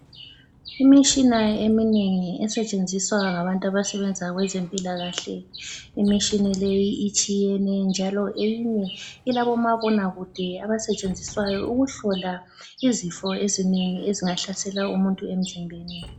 Imitshina eminengi esetshenziswa ngabantu abasebenza kwezempilakahle. Imitshini leyi itshiyene njalo eyinye ilabomabonakude abasetshenziswa ukuhlola izifo ezinengi ezingahlasela umuntu emzimbeni.